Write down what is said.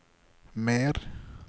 mer